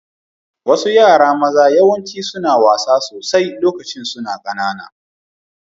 Wasu yara maza yawanci suna wasa sosai lokacin su na kananan